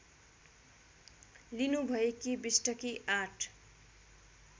लिनुभएकी बिष्टकी ८